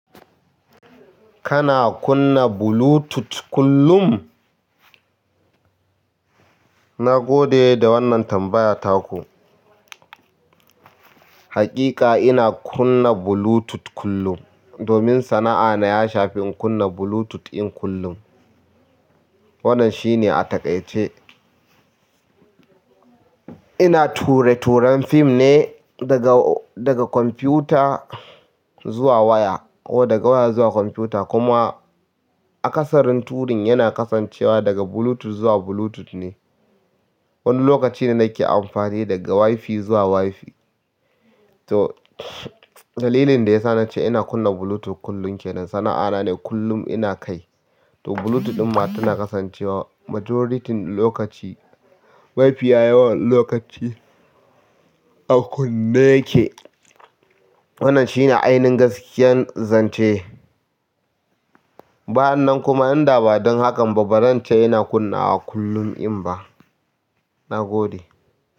Kana kunna Bluetooth kullum? Na gode da wannan tambaya taku. Haƙiƙa ina kunna Bluetooth kullum, domin sana'ana ya shafi in kunna Bluetooth in kullum. Wannan shine a takaice. Ina ture turan fim ne daga, daga kwamfuta zuwa waya ko daga waya zuwa kwamfuta. Kuma akasarin turin yana kasancewa daga Bluetooth zuwa Bluetooth ne. Wani lokaci ne nake amfani daga Wi-Fi zuwa Wi-Fi. To dalilin da ya sa na ce ina kunna Bluetooth kullum ke nan. Sana'ana ne kullum ina kai. To Bluetooth ɗin ma tana kasancewa majority lokaci. Wi-Fi ya yawan lokaci a kunne yake. Wannan shine ainihin gaskiyan zance. Ba yannan kuma inda ba don hakan ba, ba zan ce ina kunnawa kullum in ba. Na gode.